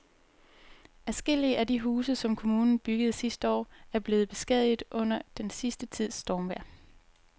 Adskillige af de huse, som kommunen byggede sidste år, er blevet beskadiget under den sidste tids stormvejr.